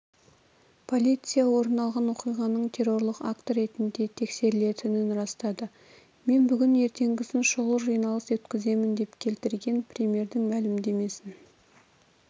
полиция орын алған оқиғаның террорлық акті ретінде тексерілетінін растады мен бүгін ертеңгісін шұғыл жиналыс өткіземін деп келтірген премьердің мәлімдемесін